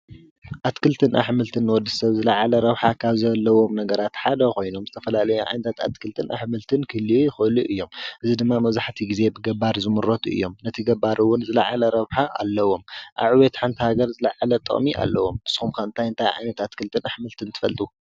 ኣትክልትን ኣሕምልትን ንወዲሰብ ዝለዓለ ረብሓ ካብ ዘለዎም ነገራት ሓደ ኾይኖም፣ ዝተፈላለየ ዓይነት ኣትክልትን ኣሕምልትን ክህልዉ ይኽእሉ እዮም። እዚ ድማ መብዛሕትኡ ግዜ ብገባር ዝምረቱ እዮም። ነቲ ገባር እውን ዝለዓለ ረብሓ ኣለዎም። ኣብ ዕብየት ሓንቲ ሃገር ዝለዓለ ጥቕሚ ኣለዎም። ንስኹምከ እንታይ እንታይ ዓይነት ኣትክልትን ኣሕምልትን ትፈልጡ?